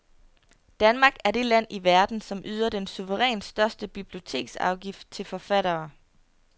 Danmark er det land i verden, som yder den suverænt største biblioteksafgift til forfattere.